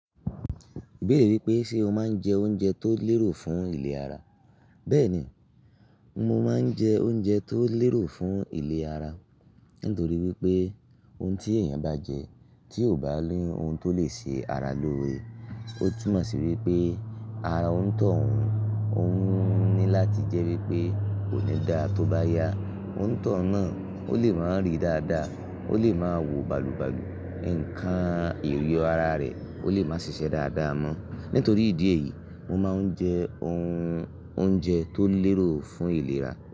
Ibeere wípé ṣé o máa ń jẹ oúnjẹ tó lérò fún ìlera. Bẹ́ẹ̀ni, mo máa ń jẹ oúnjẹ tó lérò fún ìlera, nítorí wípé oun tí èèyàn bá jẹ tí ò bá ní oun tó lè ṣe ara lóore, ó túmọ̀ sí wípé ara ònitọ́ún, òun ní láti jẹ́ wípé kò ní dáa tó bá yá, o n tọ̀un náà ó lè máa rí dáadáa, ó lè máa wò balùbalù, ǹkan èyò ara rẹ̀ ó lè máa ṣiṣẹ́ dáadáa mọ. Nítorí ìdí èyí, mo máa ń jẹ oun oúnjẹ tó lérò fún ìlera.